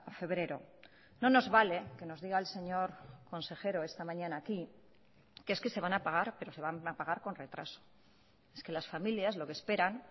febrero no nos vale que nos diga el señor consejero esta mañana aquí que es que se van a pagar pero se van a pagar con retraso es que las familias lo que esperan